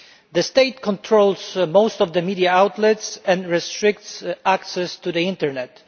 The state controls most of the media outlets and restricts access to the internet.